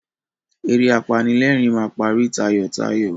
Eré apanílẹ̀rìn máa parí tayọ̀tayọ̀.